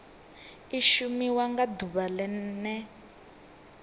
i shumiwa nga ḓuvha ḽene